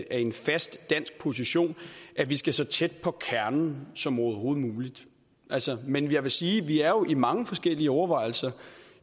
af en fast dansk position at vi skal så tæt på kernen som overhovedet muligt men jeg vil sige at vi er i mange forskellige overvejelser